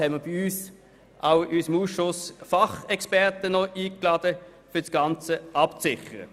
Ebenfalls haben wir Fachexperten in unseren Ausschuss eingeladen, um das Ganze abzusichern.